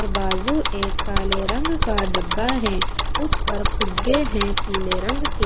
बाजू एक काले रंग का डब्बा है उस पर फुग्गे है पीले रंग के--